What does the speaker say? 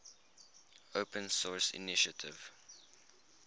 open source initiative